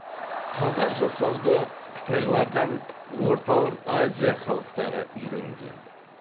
қағаз жасауды қытайлардан орталық азия халықтары үйренген